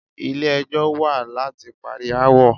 Ilé ẹjọ́ wà láti parí aáwọ̀.